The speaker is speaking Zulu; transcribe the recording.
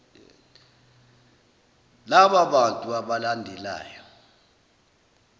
laba bantu abalandelayo